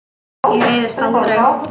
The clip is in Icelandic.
Ég reiðist aldrei.